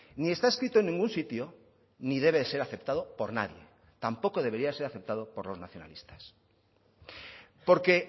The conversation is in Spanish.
ni está escrito en ningún sitio ni debe ser aceptado por nadie tampoco debería ser aceptado por los nacionalistas porque